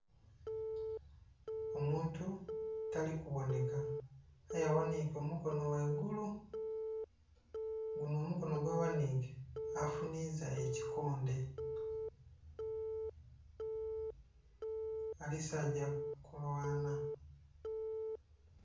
Omukazi nga yetiise ebbafu elimu amasoghani, ebikopo kwotaire akagoye, omukazi ono nga asibye akatambaala akalimu elangi endheru, emmyufu, kwotaire eya bbululu. Ng'era ayambaire bbulawuzi emmyufu. Ng'ebbafu gyeyetikilemu ebintu, elinha langi eya bbululu.